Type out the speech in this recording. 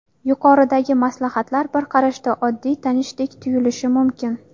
Yuqoridagi maslahatlar bir qarashda, oddiy, tanishdek tuyulishi mumkin.